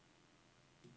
Spoleto